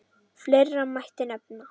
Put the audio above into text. Fleiri mætti nefna.